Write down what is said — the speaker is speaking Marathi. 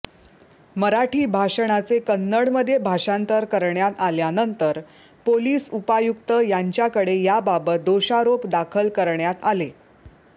मराठी भाषणाचे कन्नडमध्ये भाषांतर करण्यात आल्यानंतर पोलीस उपायुक्त यांच्याकडे याबाबत दोषारोप दाखल करण्यात आले